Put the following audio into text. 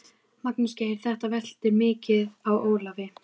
Magnús Geir: Þetta veltur mikið á Ólafi?